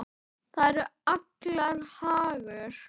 Það er allra hagur.